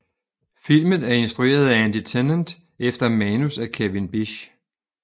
Filmen er instrueret af Andy Tennant efter manus af Kevin Bisch